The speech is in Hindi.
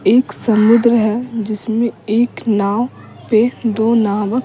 एक समुद्र है जिसमें एक नाव पे दो नावक --